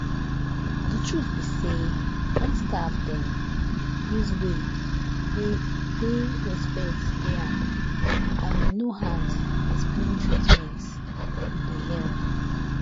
the truth be say when staff dem use way wey wey respect dey am and wey no hard explain treatment e dey help.